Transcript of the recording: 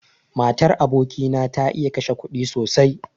Matar aboki na ta iya kashe kuɗi sosai.